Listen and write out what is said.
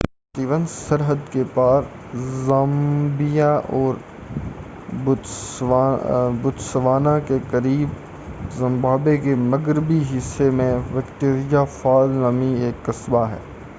لونگ stone سرحد کے پار زامبیا اور بوتسوانا کے قریب زمبابوے کے مغربی حصے میں وکٹوریا فال نامی ایک قصبہ ہے